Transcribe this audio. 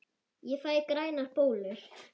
Ég fæ grænar bólur!